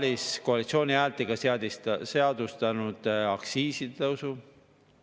Eesti Pank ka väljendas selgelt, et me tekitame raskusi oma kohalikele pankadele, kui me tahame avansilise tulumaksu tõsta 22%‑le.